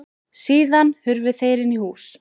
Síðan hurfu þeir inn í hús.